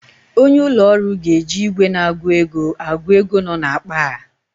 Onye ụlọ ọrụ ga-eji ìgwè na-agụ ego agụ ego nọ n'akpa a.